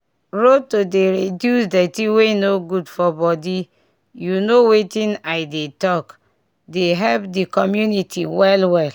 road to dey reduce dirty wey no good for body you know wetin i dey talk dey help di community well well